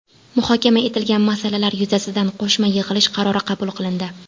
Muhokama etilgan masalalar yuzasidan qo‘shma yig‘ilish qarori qabul qilindi.